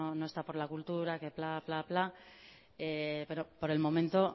no está por la cultura que pla que pla que pla pero por el momento